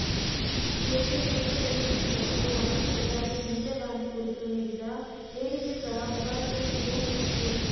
ಜೇಟ್ಲಿ ತುರ್ತು ಪರಿಸ್ಥಿತಿ ಮತ್ತು ಮಾಜಿ ಪ್ರಧಾನಿ ಇಂಧಿರಾ ಗಾಂಧಿ ಕುರಿತು ನೀಡಿದ ಹೇಳಿಕೆ ಸಹ ವಿವಾದದ ಕಿಡಿ ಹೊತ್ತಿಸಿತ್ತು